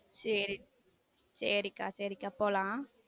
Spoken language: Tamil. சேரி சேரி அக்கா சேரி அக்கா போலாம்.